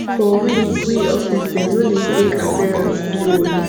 for we we office dem no dey take appearance play o